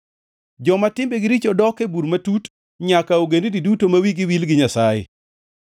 Joma timbegi richo dok e bur matut, nyaka ogendini duto ma wigi wil gi Nyasaye.